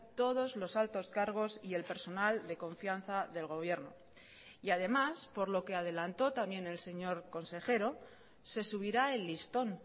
todos los altos cargos y el personal de confianza del gobierno y además por lo que adelantó también el señor consejero se subirá el listón